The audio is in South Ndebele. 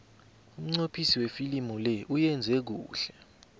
umnqophisi wefilimu le uyenze kuhle